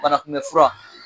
Banakunmɛn fura